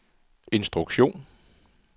instruktion